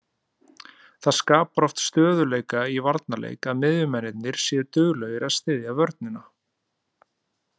Það skapar oft stöðugleika í varnarleik að miðjumennirnir séu duglegir að styðja vörnina.